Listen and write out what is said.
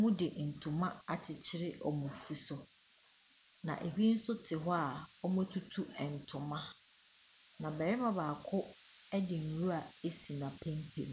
Wɔde ntoma akyekyere wɔn afu so. Na ebi nso te hɔ a wɔatutu ntoma. Na barima baako de nwura asi n’apampam.